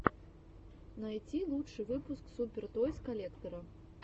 найти лучший выпуск супер тойс коллектора